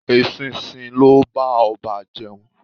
Eṣinṣin ni ó bá ọba jẹun